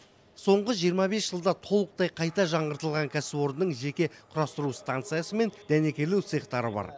соңғы жиырма бес жылда толықтай қайта жаңғыртылған кәсіпорынның жеке құрастыру станциясы мен дәнекерлеу цехтары бар